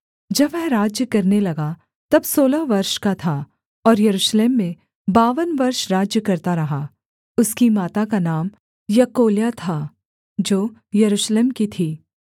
जब वह राज्य करने लगा तब सोलह वर्ष का था और यरूशलेम में बावन वर्ष राज्य करता रहा उसकी माता का नाम यकोल्याह था जो यरूशलेम की थी